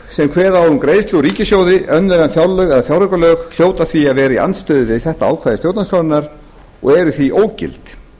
sem kveða á um greiðslu úr ríkissjóði önnur en fjárlög eða fjáraukalög hljóta því að vera í andstöðu við þetta ákvæði stjórnarskrárinnar og eru því ógild